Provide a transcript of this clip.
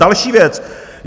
Další věc.